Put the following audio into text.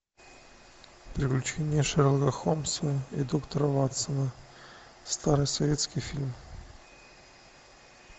приключения шерлока холмса и доктора ватсона старый советский фильм